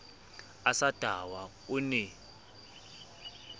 a sa tahwa o ne